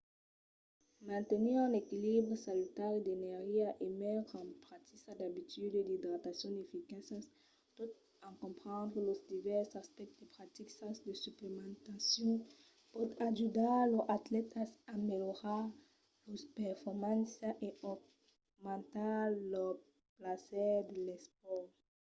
mantenir un equilibri salutari d'energia en metre en practica d'abituds d'idratacion eficaças tot en comprendre los divèrses aspèctes de practicas de suplementacion pòt ajudar los atlètas a melhorar lors performàncias e aumentar lor plaser de l'espòrt